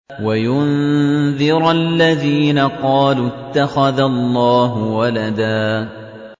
وَيُنذِرَ الَّذِينَ قَالُوا اتَّخَذَ اللَّهُ وَلَدًا